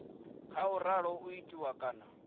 khou ralo u itiwa kana